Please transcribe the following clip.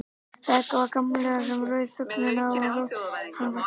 Það var Gamli sem rauf þögnina og rödd hans var stolt.